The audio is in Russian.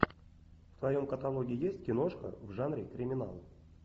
в твоем каталоге есть киношка в жанре криминал